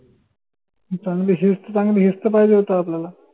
ही चांगली हेचत चांगली हेचत पाहिजे होत आपल्याला